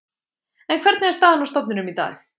En hvernig er staðan á stofninum í dag?